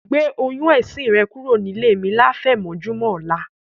Gbé oyún ẹ̀sin rẹ kúrò nílé mi láfẹ̀mọ́júmọ̀ ọ̀la.